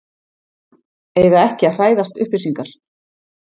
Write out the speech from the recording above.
Eiga ekki að hræðast upplýsingar